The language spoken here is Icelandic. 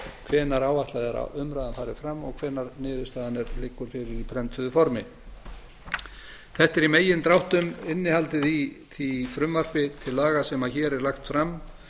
hvenær áætlað er að umræðan fari fram og hvenær niðurstaðan liggur fyrir í prentuðu formi þetta er í megindráttum innihaldið í því frumvarpi til laga sem hér er lagt fram